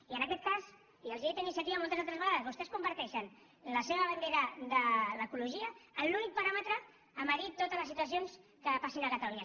i en aquest cas i els ho he dit a iniciativa moltes altres vegades vostès converteixen la seva bandera de l’ecologia en l’únic paràmetre a mesurar totes les situacions que passin a catalunya